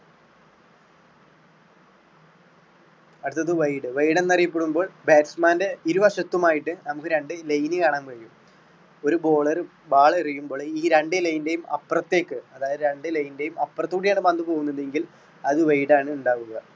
അടുത്തത് wide wide എന്ന് അറിയപെടുന്നത് batsman ൻറെ ഇരുവശത്തുമായിട്ട് നമുക്ക് രണ്ട് line കാണാൻ കഴിയും. ഒരു bowler ball എറിയുമ്പോൾ ഈ രണ്ട് line ൻറെയും അപ്പുറത്തേക്ക് അതായത് രണ്ട് line ൻറെയും അപ്പുറത്ത് കൂടിയാണ് പന്ത് പോകുന്നതെങ്കിൽ അത് wide ആണ് ഉണ്ടാവുക.